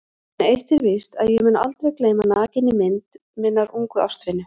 En eitt er víst að ég mun aldrei gleyma nakinni mynd minnar ungu ástvinu.